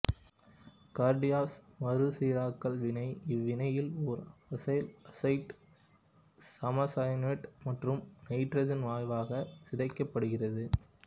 Curtius மறுசீராக்கல் வினை இவ்வினையில் ஓர் அசைல் அசைட்டு சமசயனேட்டு மற்றும் நைட்ரசன் வாயுவாக சிதைக்கப்படுகிறது